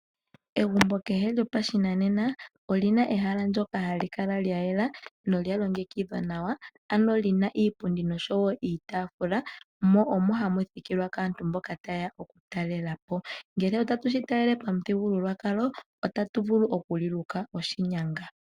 Egumbo kehe lyopashinanena olina ehala ndyoka hali kala lyayela na olyalongekidhwa nawa ano lina iipundi nosho wo iitafula mo omo hamu thikilwa kaantu mboka tayeya okutalela po, ngele otatu shitalele pamuthigululwakalo otatu vulu okuliluka oshinyanga.